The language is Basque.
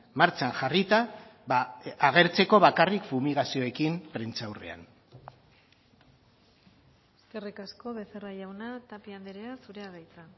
martxan jarrita agertzeko bakarrik fumigazioekin prentsaurrean eskerrik asko becerra jauna tapia andrea zurea da hitza